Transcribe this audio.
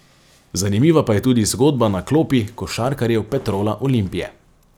Zanimiva pa je tudi zgodba na klopi košarkarjev Petrola Olimpije.